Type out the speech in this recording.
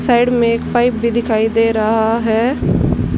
Side में एक pipe भी दिखाई दे रहा है।